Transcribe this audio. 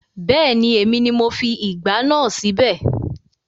Bẹ́ẹ̀ni, èmi ni mo fi ìgbá náà síbẹ̀